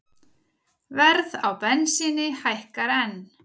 Verð á bensíni hækkar enn